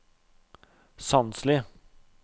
Sandsli